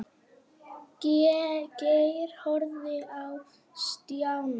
Geir horfði á Stjána.